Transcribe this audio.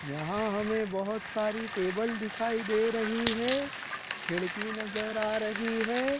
यहां हमे बहोत सारी टेबल दिखाई दे रही है खिड़की नजर आ रही है।